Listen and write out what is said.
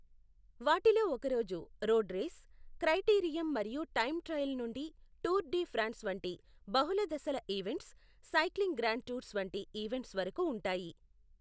వాటిలో ఒకరోజు road race, criterium మరియు టైమ్ ట్రయల్ నుండి టూర్ డి ఫ్రాన్స్ వంటి బహుళ దశల ఈవెంట్స్, సైక్లింగ్ గ్రాండ్ టూర్స్ వంటి ఈవెంట్స్ వరకు ఉంటాయి.